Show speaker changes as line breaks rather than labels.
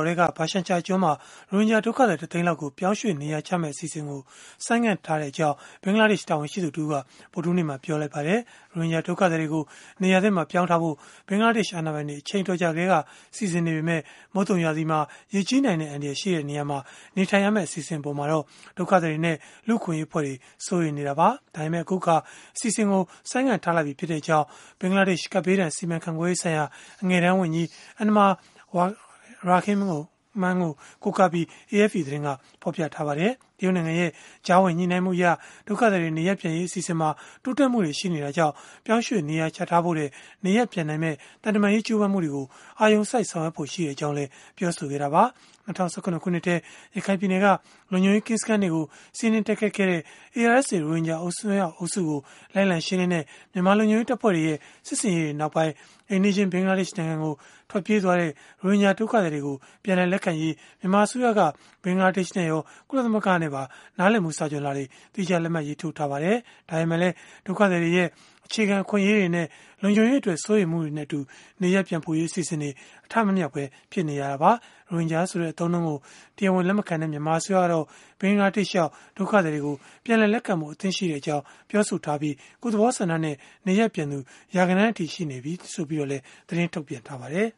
်ထဲက ဘရှန်ချာကျွန်းမှာ ရိုဟင်ဂျာဒုက္ခသည် တစ်သိန်းလောက်ကို ပြောင်းရွှေ့ နေရာချမယ့် အစီအစဉ်ကို ဆိုင်းငံ့ထားကြောင်း ဘင်္ဂလားဒေ့ရှ် တာဝန်ရှိသူတစ်ဦးက ဗုဒ္ဓဟူးနေ့မှာပဲ ပြောဆိုလိုက်ပါတယ်။ ရိုဟင်ဂျာ ဒုက္ခသည်တွေကို နေရာသစ်မှာ ပြောင်းရွှေ့ထားဖို့ ဘင်္ဂလားဒေ့ရှ် အာဏာပိုင်တွေ အချိန်အတော်ကြာ ကတည်းက စီစဉ်နေတာ ဖြစ်ပေမဲ့ မုတ်သုန်ရာသီမှာ ရေကြီးနိုင်တဲ့ အန္တရာယ်ရှိတဲ့ နေရာမှာ နေထိုင်ရမယ့် အစီအစဉ်အပေါ် ဒုက္ခသည်တွေနဲ့ လူ့အခွင့်အရေး အဖွဲ့တွေက စိုးရိမ်နေကြတာပါ။ ဒါပေမဲ့ အခုအခါ အစီအစဉ်ကို ဆိုင်းငံ့လိုက်ပြီဖြစ်ကြောင်း ဘင်္ဂလားဒေ့ရှ် ကပ်ဘေးဒဏ် စီမံခန့်ခွဲရေးဆိုင်ရာ အငယ်တန်းဝန်ကြီး Enamur Rahman ကို ကိုးကားပြီး AFP သတင်းက ဖော်ပြခဲ့ပါတယ်။ တရုတ်နိုင်ငံရဲ့ ကြားဝင်ညှိနှိုင်းမှုအရ ဒုက္ခသည်တွေ နေရပ်ပြန်ရေး အစီအစဉ်မှာ တိုးတက်မှု ရှိနေတာကြောင့် ပြောင်းရွှေ့နေရာချထားဖို့ထက် နေရပ်ပြန်နိုင်မယ့် သံတမန်ရေး ကြိုးပမ်းမှုတွေကို အာရုံစိုက် ဆောင်ရွက်သွားဖို့ ရှိကြောင်းလည်း ပြောဆိုခဲ့တာပါ။ ၂၀၁၇ ခုနှစ်ထဲ ရခိုင်ပြည်နယ်က လုံခြုံရေးကင်းစခန်းတွေကို စီးနင်းတိုက်ခိုက်ခဲ့တဲ့ ARSA ရိုဟင်ဂျာ အစွန်းရောက်အုပ်စုကို လိုက်လံရှင်းလင်းခဲ့တဲ့ မြန်မာလုံခြုံရေး တပ်ဖွဲ့တွေရဲ့ စစ်ဆင်ရေးတွေနောက်ပိုင်း အိမ်နီးချင်း ဘင်္ဂလားဒေ့ရှ်နိုင်ငံကို ထွက်ပြေးသွားတဲ့ ရိုဟင်ဂျာ ဒုက္ခသည်တွေကို ပြန်လည် လက်ခံရေး မြန်မာအစိုးရက ဘင်္ဂလားဒေ့ရှ်နဲ့ရော၊ ကုလသမဂ္ဂနဲ့ပါ နားလည်မှု စာချွန်လွှာတွေ သီးခြားလက်မှတ် ရေးထိုးထားပါတယ်။ ဒါပေမဲ့လည်း ဒုက္ခသည်တွေရဲ့ အခြေခံအခွင့်အရေးတွေနဲ့ လုံခြုံရေးအတွက် စိုးရိမ်မှုတွေနဲ့အတူ နေရပ်ပြန်ပို့ရေး အစီအစဉ်တွေ အထမမြောက်ပဲ ဖြစ်နေတာပါ။ ရိုဟင်ဂျာဆိုတဲ့ အသုံးအနှုန်းကို တရားဝင် လက်မခံတဲ့ မြန်မာအစိုးရကတော့ ဘင်္ဂလားဒေ့ရှ်ရောက် ဒုက္ခသည်တွေကို ပြန်လည်လက်ခံဖို့ အသင့်ရှိကြောင်း ပြောဆိုထားပြီး၊ ကိုယ့်သဘောဆန္ဒနဲ့ နေရပ်ပြန်လာသူ ရာဂဏန်းအထိ ရှိနေပြီလို့လည်း သတင်းထုတ်ပြန်ထားပါတယ်။